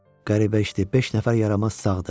Qəribə işdir, beş nəfər yaramaz sağdır.